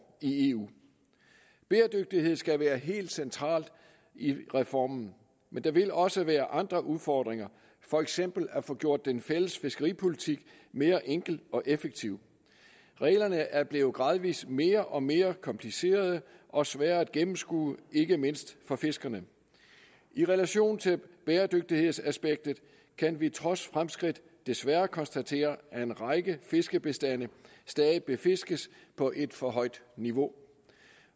i eu bæredygtighed skal være helt centralt i reformen men der vil også være andre udfordringer for eksempel at få gjort den fælles fiskeripolitik mere enkel og effektiv reglerne er blevet gradvis mere og mere komplicerede og sværere at gennemskue ikke mindst for fiskerne i relation til bæredygtighedsaspektet kan vi trods fremskridt desværre konstatere at en række fiskebestande stadig befiskes på et for højt niveau